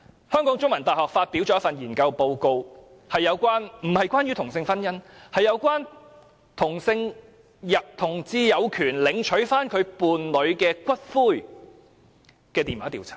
香港中文大學發表了一份研究報告，報告並不是關於同性婚姻，而是有關同志有權領取其伴侶的骨灰的電話調查結果。